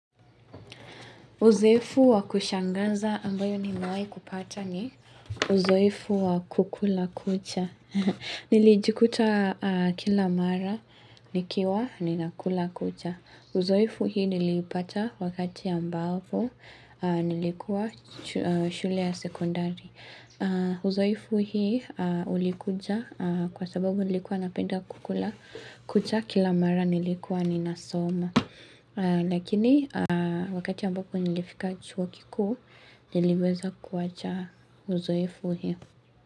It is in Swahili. Uzoefu wa kushangaza ambao nimewahi kuupata ni uzoefu wa kukula kucha. Nilijikuta kila mara, nikiwa ninakula kucha. Uzoefu hii nilipata wakati ambapo, nilikuwa shule ya sekondari. Uzoefu hii ulikuja kwa sababu nilikua napenda kukula kucha kila mara nilikua ni nasoma. Lakini wakati ambapo nilifika chuo kikuu Niliweza kuwacha uzoefu hio.